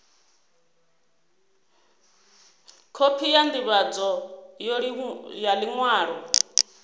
khophi ya ndivhadzo ya liṅwalo